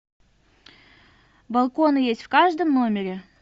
балкон есть в каждом номере